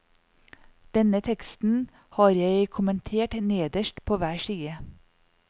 Denne teksten har jeg kommentert nederst på hver side.